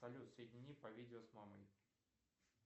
салют соедини по видео с мамой